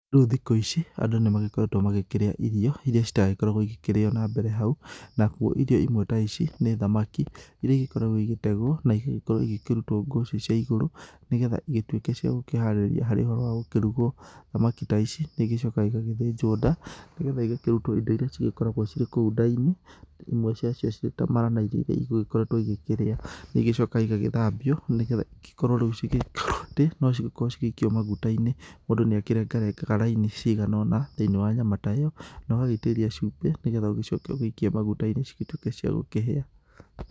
Rĩu thikũ ici andũ nĩ magĩkoretwo magĩkĩrĩa irio irĩa citagĩkoragwo igĩkĩrĩo na mbere hau, nakuo irio imwe ta ici nĩ thamaki irĩa igĩkoragwo igĩtegwo na igagĩkorwo igĩkĩrutwo ngũcĩ cia igũrũ, nĩgetha igĩtuĩke cia gũkĩharĩria harĩ ũhoro wa gũkĩrugwo. Thamaki ta ici nĩ igĩcokaga igagĩthĩnjwo nda, nĩgetha igakĩrutwo indo irĩa cigĩkoragwo cirĩ kou nda-inĩ, imwe ciacio cirĩ ta mara na irio iria igũgĩkoretwo igĩkĩrĩa. Nĩ igĩcokaga igagĩthambio, nĩgetha ikorwo rĩu igĩkwo atĩ, no cigĩkorwo cigĩikio maguta-inĩ. Mũndũ nĩ akĩrengarengaga raini ciagana ũna thĩiniĩ wa nyama ta ĩyo, na ũgagĩitĩrĩria cumbĩ, nĩgetha ũgĩcoke ũgĩikie maguta-inĩ cigĩtuĩke cia gũkĩhĩa.